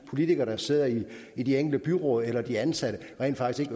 politikere der sidder i i de enkelte byråd eller de ansatte rent faktisk